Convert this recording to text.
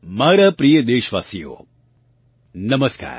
મારાં પ્રિય દેશવાસીઓ નમસ્કાર